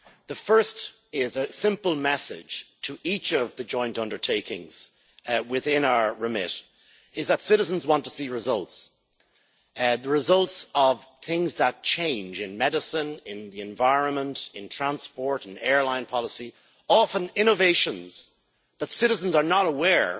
The first is a simple message to each of the joint undertakings within our remit that citizens want to see results the results of things that change in medicine, in the environment, in transport and airline policy, often innovations where citizens are not aware